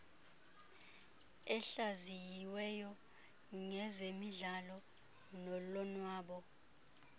ehlaziyiweyo ngezemidlalo nolonwabo